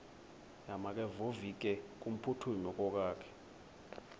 makevovike kumphuthumi okokwakhe